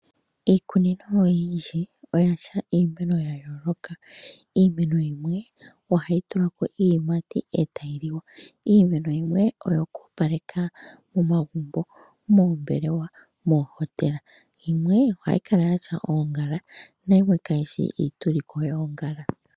Iikunino oyindji oyina iimeno yayooloka. Iimeno yimwe ohayi tulako iiyimati ee tayi liwa. Iimeno yimwe oyoku opaleka omagumbo, moombelewa nomoohotela yimwe ohayi kala yasha oongala nayimwe kayishi iituliko yoongala.